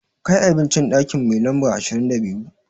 Kai abinci ɗaki mai lamba ashirin da biyu!